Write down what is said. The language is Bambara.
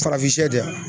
Farafin da